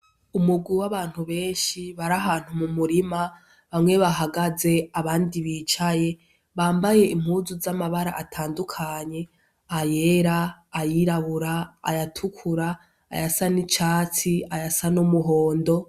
Umugu w'abantu benshi bari ahantu mu murima bamwe bahagaze abandi bicaye, bambaye impuzu z'amabara atandukanye, ayera ayirabura ayatukurua ayasa n'icatsi, ayasa n'umuhondo.